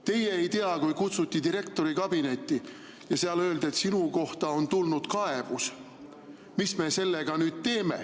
Teie ei tea, kui kutsuti direktori kabinetti ja seal öeldi, et sinu kohta on tulnud kaebus, et mis me sellega nüüd teeme.